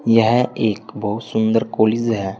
यह एक बहुत सुंदर कॉलेज है।